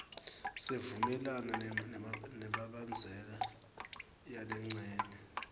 sivumelana nemibandzela yalencenye